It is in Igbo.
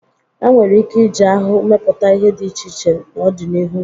E nwere ike iji ahụhụ mepụta ihe dị iche iche n'ọdịnihu.